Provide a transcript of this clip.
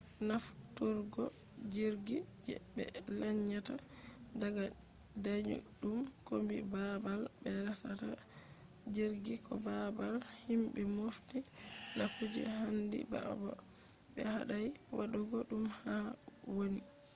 nafturgo jirgi je be lanyata daga dayudum kombi babal be resata jirgi ko babal himbe mofti na kuje handi ba ko be hadai wadugo dum haa woni